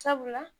Sabula